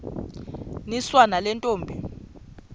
niswa nale ntombi